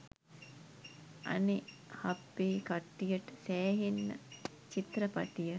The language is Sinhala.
අනෙ හප්පේ කට්ටියට සෑහෙන්න චිත්‍රපටිය